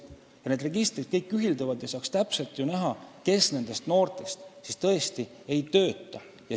Kõik need registrid ühilduvad ja saaks ju täpselt vaadata, kes nendest noortest tõesti ei tööta.